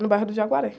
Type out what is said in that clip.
É no bairro do.